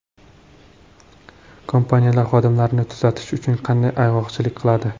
Kompaniyalar xodimlarini kuzatish uchun qanday ayg‘oqchilik qiladi?.